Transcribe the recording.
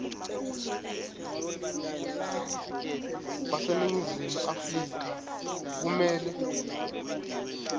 baseningizimu afrika kumele